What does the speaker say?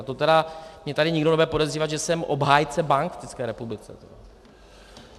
A to tedy mě tady nikdo nebude podezřívat, že jsem obhájce bank v České republice.